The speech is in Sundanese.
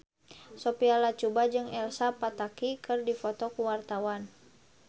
Sophia Latjuba jeung Elsa Pataky keur dipoto ku wartawan